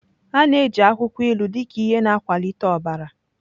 A na-eji akwụkwọ ilu dị ka ihe na-akwalite ọbara.